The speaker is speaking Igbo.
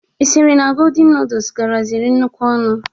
Ị sịrị na godin nudus garaziri nnukwu ọnụ?